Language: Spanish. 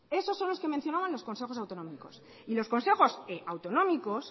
eso son los que mencionaban los consejos autonómicos y los consejos autonómicos